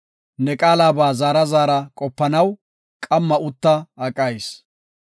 Ne qaalaba zaara zaara qopanaw, qamma utta aqayis.